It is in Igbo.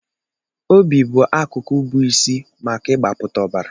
Obi bụ akụkụ bụ isi maka ịgbapụta ọbara.